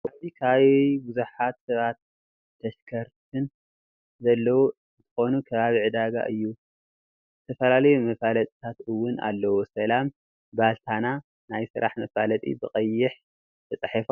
ኣብዚ ከባቢ ብዙሓት ሰባትን ተሽከርትን ዘለው አንትከኑ ከባቢ ዕዳጋ እዩ ዝተፈላለዩ መፈላጢታት እወን ኣለው ሰላም ባልትና ናይ ስራሕ መፋለጢ ብቀይሕ ተፃሒፉ ኣሎ።